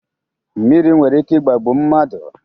Mmiri nwere ike ị̀gbàgbù mmadụ.